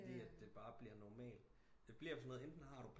Det bare bliver normalt det bliver sådan noget enten så har du